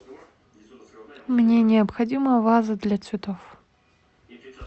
мне необходима ваза для цветов